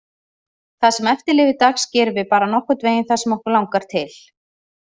Það sem eftir lifir dags gerum við bara nokkurn veginn það sem okkur langar til.